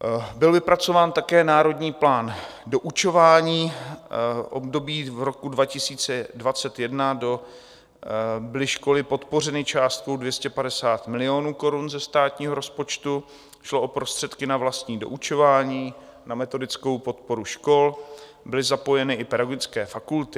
Byl vypracován také národní plán doučování, v období roku 2021 byly školy podpořeny částkou 250 milionů korun ze státního rozpočtu, šlo o prostředky na vlastní doučování, na metodickou podporu škol, byly zapojeny i pedagogické fakulty.